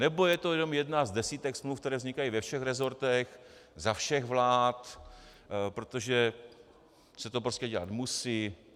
Nebo je to jenom jedna z desítek smluv, které vznikají ve všech resortech za všech vlád, protože se to prostě dělat musí?